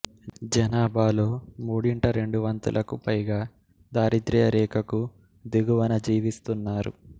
జనాభాలో మూడింట రెండు వంతులకు పైగా దారిద్య్ర రేఖకు దిగువన జీవిస్తున్నారు